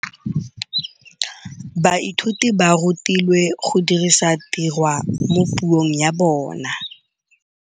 Baithuti ba rutilwe go dirisa tirwa mo puong ya bone.